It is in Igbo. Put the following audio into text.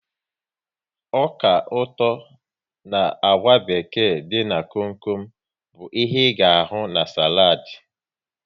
Ọka ụtọ na àgwà beked dị n'kom kom bụ ihe ga ahụ na saladi